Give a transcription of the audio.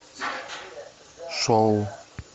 шоу